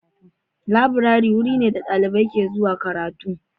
Laburare wuri ne da dalibai ke zuwa karatu.